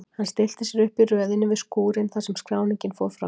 Hann stillti sér upp í röðinni við skúrinn þar sem skráningin fór fram.